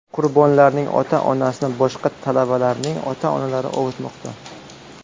Qurbonlarning ota-onasini boshqa talabalarning ota-onalari ovutmoqda.